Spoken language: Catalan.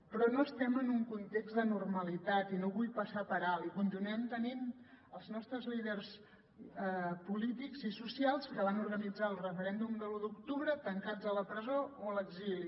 però no estem en un context de normalitat i no ho vull passar per alt i continuem tenint els nostres líders polítics i socials que van organitzar el referèndum de l’u d’octubre tancats a la presó o a l’exili